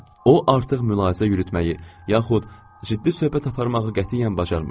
O artıq mülahizə yürütməyi, yaxud ciddi söhbət aparmağı qətiyyən bacarmırdı.